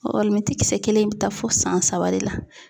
alimɛti kisɛ kelen in bɛ taa fo san saba de la.